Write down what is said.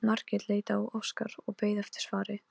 Ég hef ekki talað við Þuríði dögum saman.